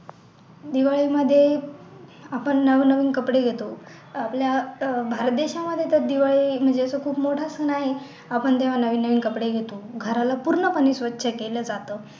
दिवाळी मध्ये आपण नवनवीन कपडे घेतो आपल्या अह भारत देशामध्ये तर दिवाळी म्हणजे तर खूप मोठा सण आहे आपण तेव्हा नवनवीन कपडे घेतो गर्ल पूर्ण पणे स्वच्छ केलं जातं